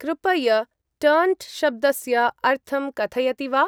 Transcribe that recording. कृपय टर्न्ट्-शब्दस्य अर्थं कथयति वा?